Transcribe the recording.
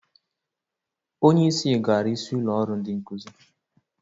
Onyeisi gara isi ụlọ ọrụ ndị nkụzị.